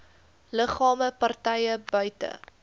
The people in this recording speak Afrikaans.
liggame partye buite